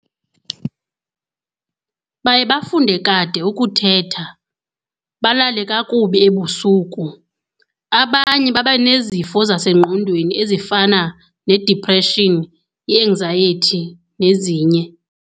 Baye bafunde kade ukuthetha, balale kakubi ebusuku. Abanye babanezifo zasengqondweni ezifana ne-depression, i-anxiety nezinye.